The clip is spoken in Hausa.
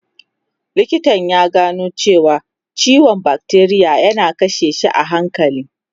Likitan ya gano cewa ciwon bakteriya yana kashe shi a hankali.